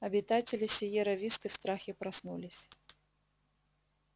обитатели сиерра-висты в страхе проснулись